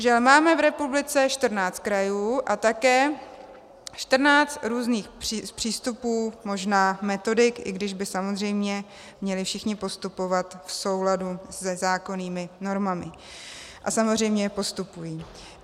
Žel, máme v republice 14 krajů a také 14 různých přístupů, možná metodik, i když by samozřejmě měli všichni postupovat v souladu se zákonnými normami a samozřejmě postupují.